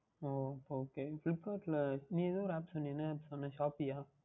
ஓ Ok Flipkart இல் நீ ஏதோ ஓர் App சொன்னாயே என்ன App சொன்னாய் Shopee அஹ்